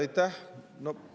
Aitäh!